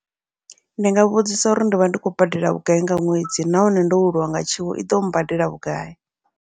Ndi nga vhudzisa uri ndi vha ndi khou badela vhugai nga ṅwedzi, nahone ndo welwa nga tshiwo iḓo badela vhugai.